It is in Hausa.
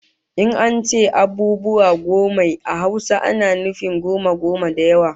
In an ce abubuwa gommai a Hausa ana nufin goma goma da yawa